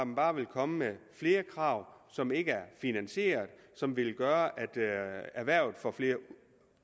bare vil komme med flere krav som ikke er finansieret og som vil gøre at erhvervet får flere